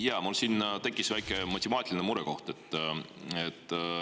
Jaa, mul tekkis väike matemaatiline murekoht.